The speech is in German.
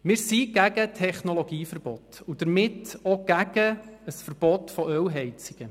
Wir sind gegen Technologieverbote und damit auch gegen ein Verbot von Ölheizungen.